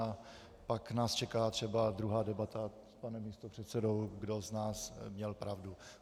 A pak nás čeká třeba druhá debata s panem místopředsedou, kdo z nás měl pravdu.